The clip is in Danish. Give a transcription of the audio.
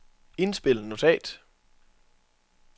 indspil notat